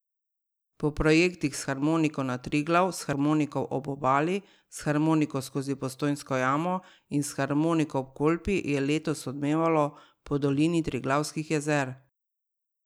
Po projektih S harmoniko na Triglav, S harmoniko po obali, S harmoniko skozi Postojnsko jamo in S harmoniko ob Kolpi je letos odmevalo po Dolini Triglavskih jezer.